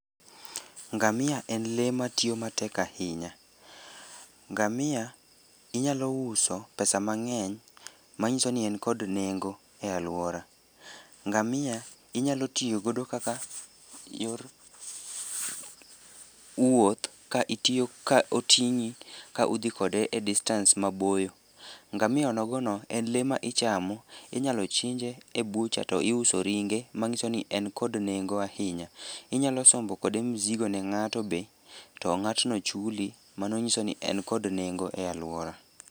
Ngamia en lee matiyo matek ahinya. Ngamia inyalo uso pesa mang'eny, manyiso ni en kod nengo e alwora. Ngamia inyalo tiyogo eyor wuoth ka oting'i ka udhi kode e distance maboyo. Ngamia onogono en lee ma ichamo, inyalo chinje e butcher to iuso ringe, manyiso ni en kod nengo ahinya. Inyalo sombo kode mzigo ne ng'ato be to ng'atno chuli, mano nyiso ni en kod nengo e alwora.